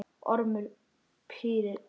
Ormur pírði augun.